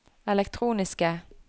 elektroniske